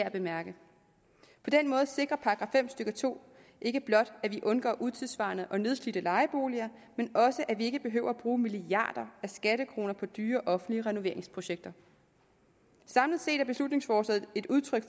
at bemærke på den måde sikrer § fem stykke to ikke blot at vi undgår utidssvarende og nedslidte lejeboliger men også at vi ikke behøver at bruge milliarder af skattekroner på dyre offentlige renoveringsprojekter samlet set er beslutningsforslaget et udtryk